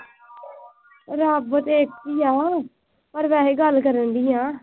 ਰੱਬ ਤਾਂ ਇੱਥੇ ਈ ਆ। ਪਰ ਵੈਸੇ ਗੱਲ ਕਰਨ ਦਈ ਆ।